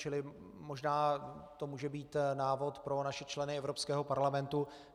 Čili možná to může být návod pro naše členy Evropského parlamentu.